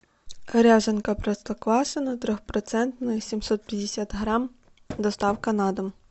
ряженка простоквашино трехпроцентная семьсот пятьдесят грамм доставка на дом